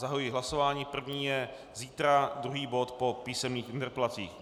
Zahajuji hlasování - první je zítra druhý bod po písemných interpelacích.